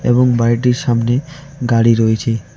এবং বাড়িটির সামনে গাড়ি রয়েছে।